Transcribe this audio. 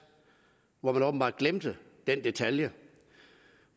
hvor man åbenbart glemte den detalje